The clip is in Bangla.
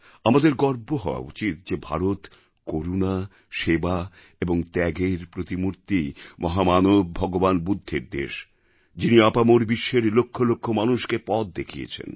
আমাদের গর্ব হওয়া উচিৎ যে ভারত করুণা সেবা এবং ত্যাগের প্রতিমূর্তি মহামানব ভগবান বুদ্ধের দেশ যিনি আপামর বিশ্বের লক্ষ লক্ষ মানুষকে পথ দেখিয়েছেন